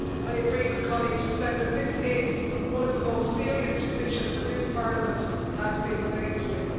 I agree with colleagues who said that this is one of the most serious decisions that this Parliament has been faced with.